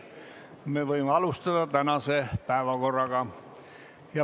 Me võime alustada tänase päevakorra menetlemist.